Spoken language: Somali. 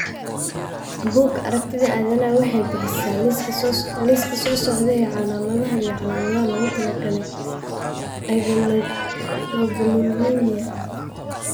Bugaa aragtida aDdanaha waxay bixisaa liiska soo socda ee calaamadaha iyo calaamadaha loogu talagalay agammaglobulinemia.